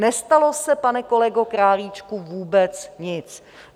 Nestalo se, pane kolego Králíčku, vůbec nic.